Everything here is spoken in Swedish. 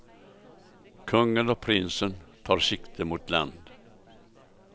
Kungen och prinsen tar sikte mot land.